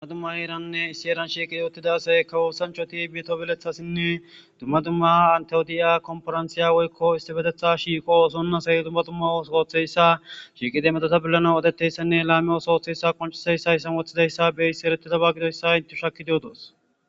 Ha dumma herranne issi herran shiiqi utidda assay kawo ooththonchchati metto belleththatinne dumma dumma entta odiya konfiranththiya woykko issipeteththa shiiqi oththon assay dumma dumma ooththo ooththizayssa shiqidi metotta polanaw oththizayssanne lami ooththo ooththizaysa qoncizayssa haysan woththidaysa be'yssi erettidayssa gididayssa intees shakiidi oddos